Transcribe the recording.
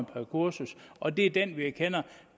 per kursus og det er den vi erkender